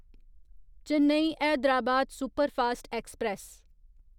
Chennai Hyderabad superfast express